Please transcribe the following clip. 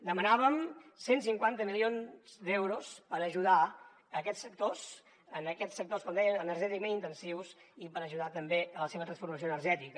demanàvem cent i cinquanta milions d’euros per ajudar aquests sectors com dèiem energèticament intensius i per ajudar també a la seva transformació energètica